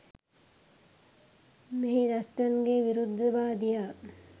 මෙහි ඩස්ටන්ගෙ විරුද්ධවාදියා